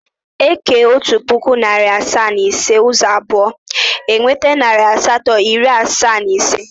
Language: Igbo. E kee otu puku, narị asaa na iri ise ụzọ abụọ, e nweta narị asatọ, iri asaa na ise.